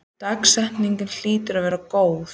Dagsetningin hlyti að vita á gott.